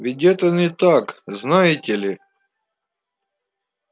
ведь это не так знаете ли